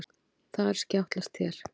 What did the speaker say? Þar skjátlast þér.